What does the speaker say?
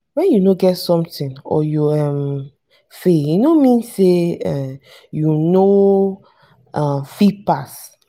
wen you no get something or you um fail e no mean say um you no um fit pass.